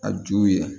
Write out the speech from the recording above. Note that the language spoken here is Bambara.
A ju ye